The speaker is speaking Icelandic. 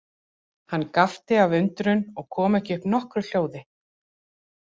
Hann gapti af undrun og kom ekki upp nokkru hljóði.